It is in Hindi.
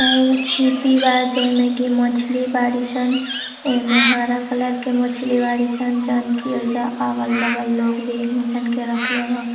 ईहा एगो छिपी बा जैमेन की मछली बड़ीसन। एईमेन हारा कलर के मछली बाड़ीसन जौन की ओईजा अगल- बगल लोग भी एकनी सन के रखले बा।